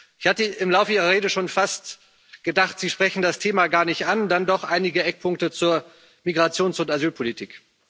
Ich hatte im Laufe Ihrer Rede schon fast gedacht, Sie sprechen das Thema gar nicht an, dann doch einige Eckpunkte zur Migrations und Asylpolitik.